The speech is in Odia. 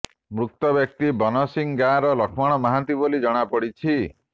ମୃତ ବ୍ୟକ୍ତି ବନସିଂହ ଗାଁର ଲକ୍ଷ୍ମଣ ମହାନ୍ତି ବୋଲି ଜଣାପଡିଛି